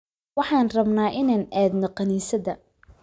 Waxaan rabnaa inaan aadno kaniisadda